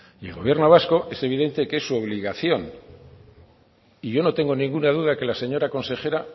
y el gobierno vasco es evidente que es su obligación y yo no tengo ninguna duda que la señora consejera